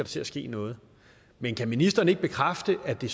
til at ske noget men kan ministeren ikke bekræfte at det